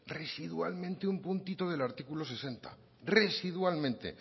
residualmente un puntito del artículo sesenta residualmente